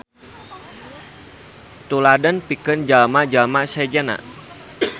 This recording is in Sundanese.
Tuladeun pikeun jalma-jalma sejenna.